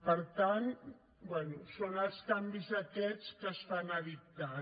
per tant bé són els canvis aquests que es fan a dictat